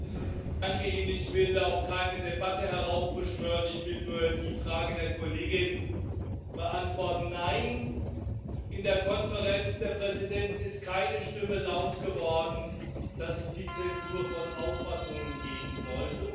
Herr Präsident! Ich will auch keine Debatte heraufbeschwören. Ich will nur die Frage der Kollegin beantworten Nein, in der Konferenz der Präsidenten ist keine Stimme laut geworden, dass es die Zensur von Auffassungen geben sollte